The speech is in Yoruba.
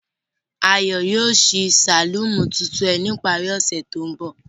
Ayo yoo ṣii saluni tuntun rẹ ni ipari ose to nbọ.